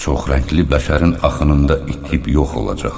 Çoxrəngli bəşərin axınında itib yox olacaq.